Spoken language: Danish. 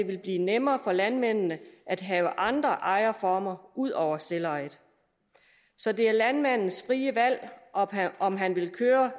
vil blive nemmere for landmændene at have andre ejerformer ud over selvejet så det er landmandens frie valg om han vil køre